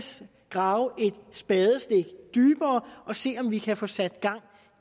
grave et spadestik dybere og se om vi kan få sat gang